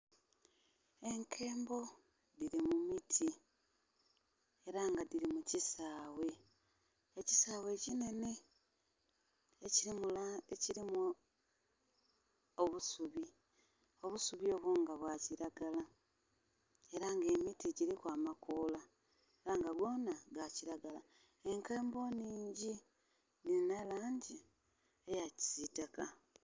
Enkembo dhiri mu miti era nga dhiri mu kisaghe, ekisaghe ki nene ekilimu obusubi obusubi obwo nga bwa kilagala era nga emiti giliku amakoola era nga gonna ga kilagla. Enkembo nnhingi dhilina langi eya kisitaka.